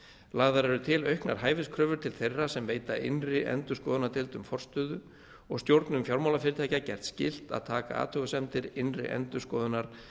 lagðar eru til auknar hæfiskröfur til þeirra sem geta innri endurskoðunardeildum forstöðu og stjórnum fjármálafyrirtækja gert skylt að taka athugasemdir innri endurskoðunar